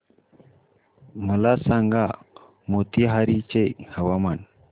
मला सांगा मोतीहारी चे हवामान